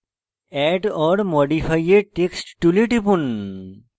add or modify a text tool টিপুন